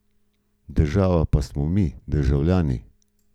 Država pa smo mi, državljani.